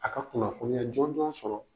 A ka kunnafoniya jɔn jɔn sɔrɔ.